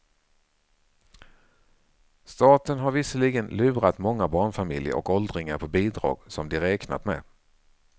Staten har visserligen lurat många barnfamiljer och åldringar på bidrag som de räknat med.